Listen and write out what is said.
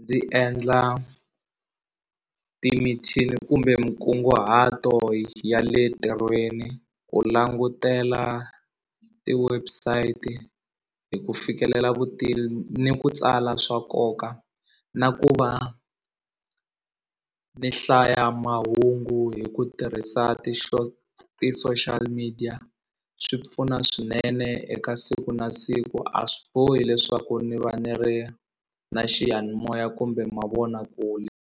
ndzi endla ti mithini kumbe minkunguhato ya le ntirhweni ku langutela ti-website hi ku fikelela vutivi ni ku tsala swa nkoka na ku va ni hlaya mahungu hi ku tirhisa ti-social media swi pfuna swinene eka siku na siku a swi bohi leswaku ni va ni ri na xiyanimoya kumbe mavonakule.